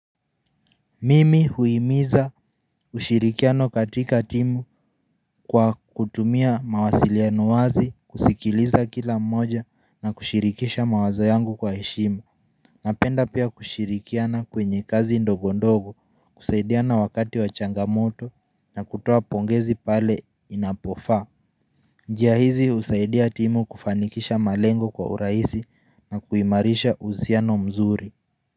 Mimi huimiza ushirikiano katika timu kwa kutumia mawasiliano wazi kusikiliza kila mmoja na kushirikisha mawazo yangu kwa heshima Napenda pia kushirikiana kwenye kazi ndogo ndogo kusaidiana wakati wa changamoto na kutoa pongezi pale inapofa njia hizi usaidia timu kufanikisha malengo kwa uraisi na kuimarisha uzsano mzuri.